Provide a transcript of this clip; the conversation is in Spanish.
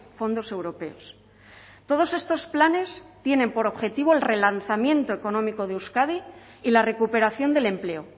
fondos europeos todos estos planes tienen por objetivo el relanzamiento económico de euskadi y la recuperación del empleo